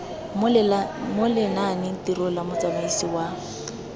mo lenanetirong la motsamaisi wa